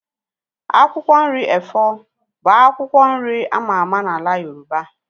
Akwụkwọ nri efọ bụ akwụkwọ nri ama ama n'ala Yoroba